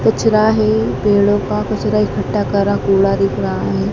कचरा है पेड़ों का कचरा इकट्ठा करा कूड़ा दिख रहा है।